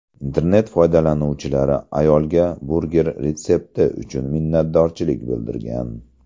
Internet foydalanuvchilari ayolga burger retsepti uchun minnatdorchilik bildirgan.